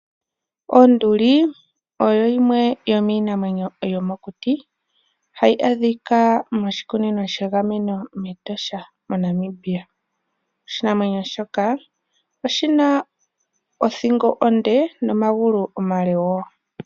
Onduli oyo yimwe yomiinamwenyo yomokuti, hayi adhika moshikunino shegameno mEtosha moNamibia. Oshinamwenyo shoka oshina othingo onde nomagulu omale woo.